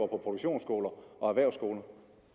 produktionsskoler og erhvervsskoler